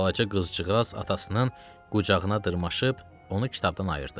Balaca qızcığaz atasının qucağına dırmaşıb onu kitabdan ayırdı.